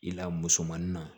I la musomanin na